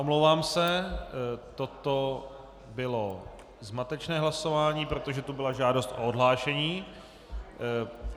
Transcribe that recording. Omlouvám se, toto bylo zmatečné hlasování, protože tu byla žádost o odhlášení.